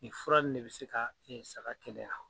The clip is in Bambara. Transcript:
Nin fura nunnu de bɛ se ka saga kɛnɛya